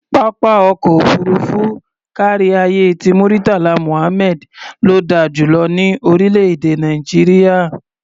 Pápá ọkọ̀ òfuurufú káríayé ti Murtala Muhammad ló da jù lọ ní orílẹ̀-èdè Nàìjíríà.